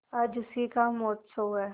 आज उसी का महोत्सव है